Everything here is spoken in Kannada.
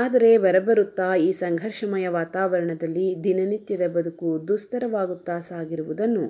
ಆದರೆ ಬರಬರುತ್ತಾ ಈ ಸಂಘರ್ಷಮಯ ವಾತಾವರಣದಲ್ಲಿ ದಿನನಿತ್ಯದ ಬದುಕು ದುಸ್ತರವಾಗುತ್ತಾ ಸಾಗಿರುವುದನ್ನು